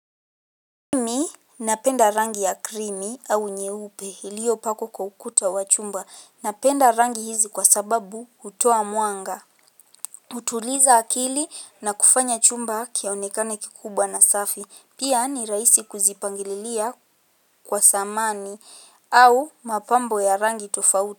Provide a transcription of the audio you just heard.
Mimi napenda rangi ya krimi au nyeupe iliyopakwa kwa ukuta wa chumba. Napenda rangi hizi kwa sababu hutoa mwanga hutuliza akili na kufanya chumba kionekane kikubwa na safi pia ni rahisi kuzipangililia kwa samani au mapambo ya rangi tofauti.